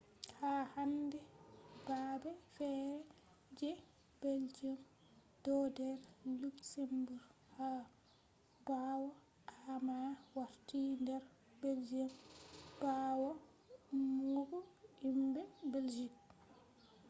ha hande babe fere je belgium do der luxembourg ha bawo amma warti der belgium bawo ummugo himbe belgium